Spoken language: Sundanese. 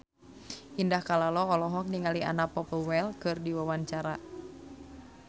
Indah Kalalo olohok ningali Anna Popplewell keur diwawancara